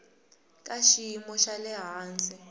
ka xiyimo xa le hansi